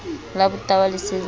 la botahwa le se le